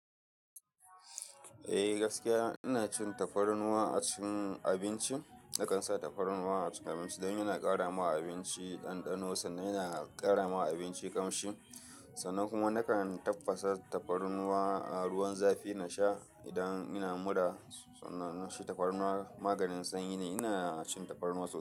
Eh gaskiya ina cin tafarnuwa a cikin abinci. Nakan sa tafarnuwa a cikin abinci, don yana ƙara ma abinci ɗanɗano sannan yana ƙara ma abinci ƙamshi. Sannan kuma nakan tafasa tafarnuwa a ruwan zafi na sha idan ina mura. Sannan shi tafarnuwa maganin sanyi ne. Ina cin tafarnuwa sosai.